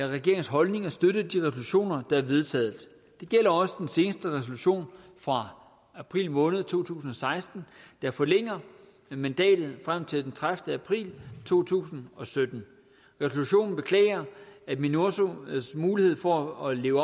regeringens holdning at støtte de resolutioner der er vedtaget det gælder også den seneste resolution fra april måned to tusind og seksten der forlænger mandatet frem til den tredivete april to tusind og sytten resolutionen beklager at minursos mulighed for at leve